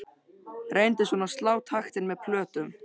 Reyndi svona að slá taktinn með plötum.